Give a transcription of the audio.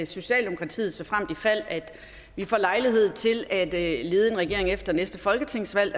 socialdemokratiet såfremt i fald vi får lejlighed til at lede en regering efter næste folketingsvalg